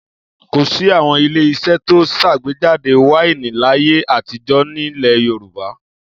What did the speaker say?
Kò sí àwọn ilé-iṣẹ́ tó ń ṣàgbéjáde wáìnì láyé àtijọ́ nílẹ̀ Yorùbá.